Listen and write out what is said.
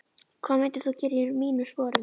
hvað myndir þú gera í mínum sporum?